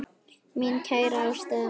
Mín kæra ástkæra móðir.